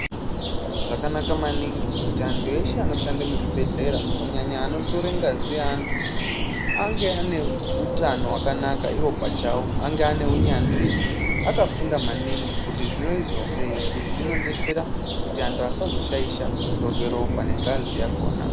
Zvakanaka maningi kuti anthu eshe anoshande muzvibhedhlera , kunyanya anotore ngazi yeanthu, ange ane utano wakanaka iwo pachawo, ange ane unyanzvihe, akafunda maningi kuti zvinoizwa sei. Izvi zvinodetsera kuti anthu asazoshaisha kutorwa ropa nengazi yakhona.